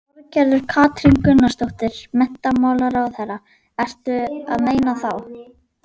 Þorgerður Katrín Gunnarsdóttir, menntamálaráðherra: Ertu að meina þá?